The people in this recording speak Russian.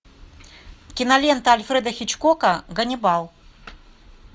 кинолента альфреда хичкока ганнибал